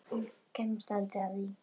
Hann kemst aldrei að því.